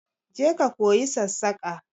Je ka koyi sassaƙa!